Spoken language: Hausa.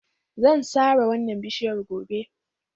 Zan sare wannan bishiyar gobe